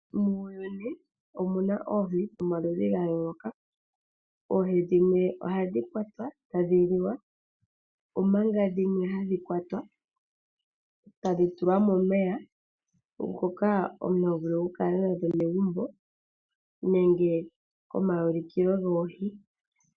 Muuyuni omu na oohi dhomaludhi ga yooloka . Oohi dhimwe ohadhi kwatwa etadhi liwa, omanga dhimwe hadhi kwatwa etadhi tulwa momeya , ngoka omuntu tovulu okukala megumbo nenge lyomaulikilo goohi.